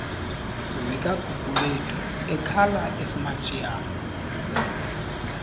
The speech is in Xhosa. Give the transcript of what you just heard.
zikagugulethu ekhala esimantshiyane